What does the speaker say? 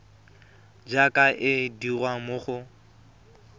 jaaka e dirwa mo go